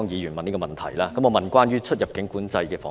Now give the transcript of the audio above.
我會問關於出入境管制的防疫問題。